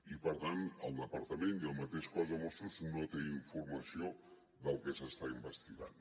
i per tant el departament i el mateix cos de mossos no té informació del que s’està investigant